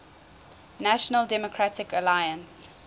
national democratic alliance